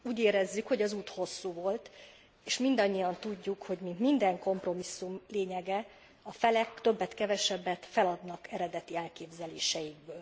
Úgy érezzük, hogy az út hosszú volt és mindannyian tudjuk, hogy minden kompromisszum lényege, hogy a felek többet kevesebbet feladnak az eredeti elképzeléseikből.